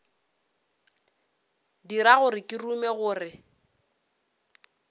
dira gore ke rume gore